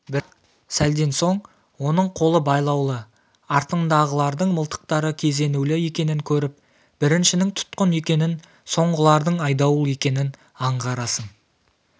бірақ сәлден соң оның қолы байлаулы артындағылардың мылтықтары кезенулі екенін көріп біріншінің тұтқын екенін соңғылардың айдауыл екенін аңғарасың